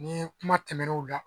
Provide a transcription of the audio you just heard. Ni kuma tɛmɛnenw la